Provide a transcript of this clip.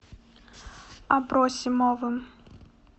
абросимовым